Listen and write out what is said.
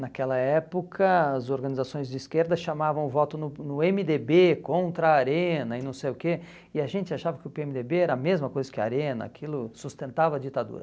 Naquela época, as organizações de esquerda chamavam o voto no no eme dê bê contra a Arena e não sei o quê, e a gente achava que o pê eme dê bê era a mesma coisa que a Arena, aquilo sustentava a ditadura.